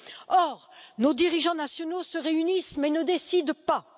Or, nos dirigeants nationaux se réunissent mais ne décident pas.